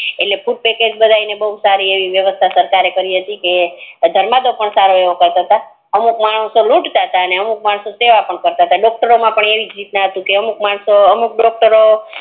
એટલે food packet બધા ને સરકારે સારી એવી વ્યવસ્થા કરી હતી ધર્માદો પણ સારો એવો કરતા તા અમુક માણસો લુંટ તા તા અમુક માણસો સેવ પણ કરતાં તા ડૉક્ટરો પણ અમુક માણસો અમુક ડોકટરો